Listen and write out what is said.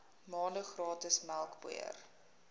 maande gratis melkpoeier